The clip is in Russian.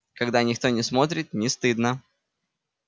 когда никто не смотрит не стыдно